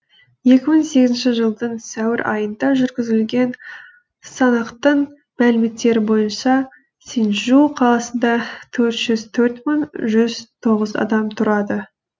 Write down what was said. екі мың сегізінші жылдың сәуір айында жүргізілген санақтың мәліметтері бойынша синьчжу қаласында төрт жүз төрт мың жүз тоғыз адам тұрады